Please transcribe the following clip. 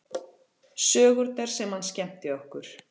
Sögurnar sem hann skemmti okkur